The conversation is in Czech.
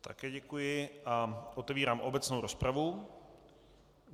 Také děkuji a otevírám obecnou rozpravu.